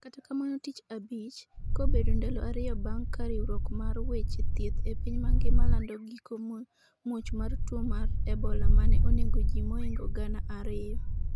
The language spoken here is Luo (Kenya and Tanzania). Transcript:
kata kamano tich abich, kobedo ndalo ariyo bang' ka riwruok mar weche thieth e piny mangima lando giko much mwar tuo mar ebola mane onego ji moingo gana ariyo